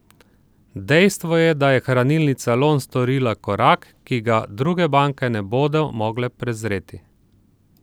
Dejstvo je, da je Hranilnica Lon storila korak, ki ga druge banke ne bodo mogle prezreti.